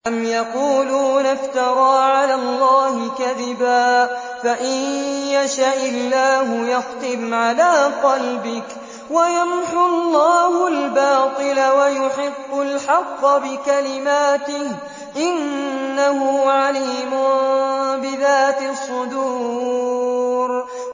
أَمْ يَقُولُونَ افْتَرَىٰ عَلَى اللَّهِ كَذِبًا ۖ فَإِن يَشَإِ اللَّهُ يَخْتِمْ عَلَىٰ قَلْبِكَ ۗ وَيَمْحُ اللَّهُ الْبَاطِلَ وَيُحِقُّ الْحَقَّ بِكَلِمَاتِهِ ۚ إِنَّهُ عَلِيمٌ بِذَاتِ الصُّدُورِ